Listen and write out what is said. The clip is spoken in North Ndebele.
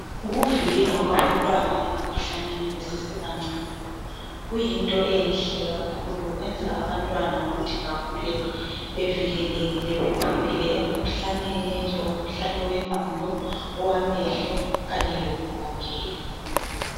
ukuvikelwa kwabantwana emikhuhlaneni besesebancane kuyinto enhle kakhulu kuyenza ukuthi abantwana bekhule bevikelekile bephephile emikhuhlaneni enjengo mkhuhlane wenqondo owamehlo kanye lokugogeka